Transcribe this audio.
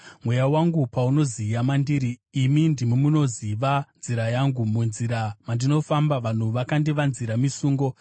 Mweya wangu paunoziya mandiri, imi ndimi munoziva nzira yangu. Munzira mandinofamba, vanhu vakandivanzira misungo.